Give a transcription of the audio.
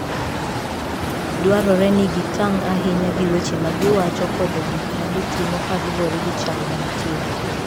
Dwarore ni gitang' ahinya gi weche ma giwacho koda gik ma gitimo kaluwore gi chal mantie.